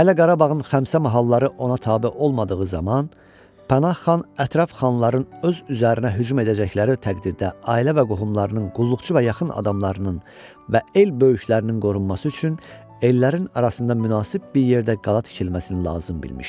Hələ Qarabağın Xəmsə mahalları ona tabe olmadığı zaman Pənah xan ətraf xanların öz üzərinə hücum edəcəkləri təqdirdə ailə və qohumlarının qulluqçu və yaxın adamlarının və el böyüklərinin qorunması üçün ellərin arasında münasib bir yerdə qala tikilməsini lazım bilmişdi.